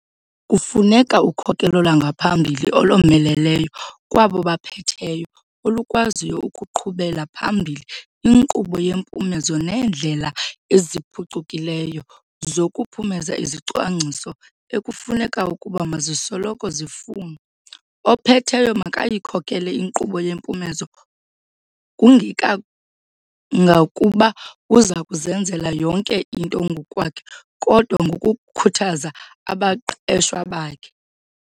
Kufuneka ukhokelo lwangaphakathi olomeleleyo kwabo baphetheyo olukwaziyo ukuqhubela phambili inkqubo yempumezo neendlela eziphucukileyo zokuphumeza izicwangciso ekufuneka ukuba mazisoloko zifunwa. Ophetheyo makayikhokele inkqubo yempumezo, kungekangakuba uza kuzenzela yonke into ngokwakhe kodwa ngokukhuthaza abaqeshwa bakhe.